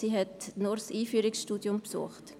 Sie hat nur das Einführungsstudium besucht.